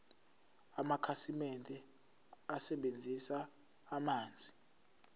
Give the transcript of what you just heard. amakhasimende asebenzisa amanzi